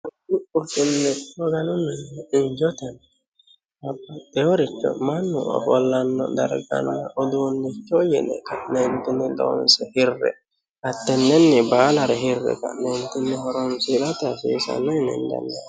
ursinnetti hoganu mi ijoten habateyoricho mannu ofollanno darganna uduunnicho yine ka'neentinni loonse hirre hattennenni baalare hirre ka'neentinni horonsirate hasiisanno yine hendanni